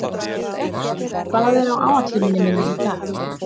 Heba, hvað er á áætluninni minni í dag?